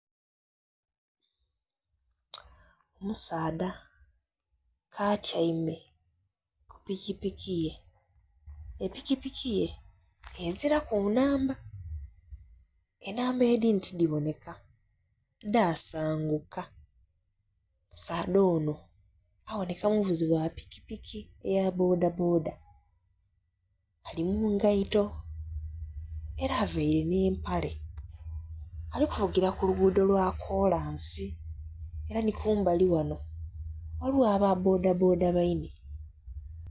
Omusaadha atyaime kupikipiki ye epikipiki ye ezira ku nnamba enamba edhindhi tidhiboneka dhasanguka. Omusaadha ono aboneka muvuzi gha pikipiki eya bboda bboda ali mungaito era avaire n'empale ali kuvugira kuluguudo lwakolansi era ni kumbali ghano ghaligho aba bboda bboda baine.